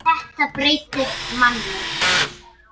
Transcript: Þetta breytir manni.